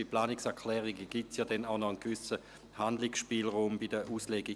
Denn bei Planungserklärungen besteht später noch ein gewisser Handlungsspielraum bei der Auslegung.